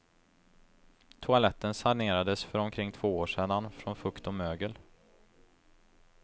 Toaletten sanerades för omkring två år sedan från fukt och mögel.